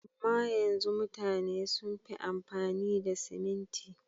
Amma yanzu mutane sun fi amfani da siminti.